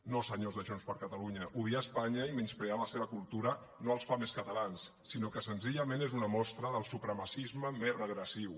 no senyors de junts per catalunya odiar espanya i menysprear la seva cultura no els fa més catalans sinó que senzillament és una mostra del supremacisme més regressiu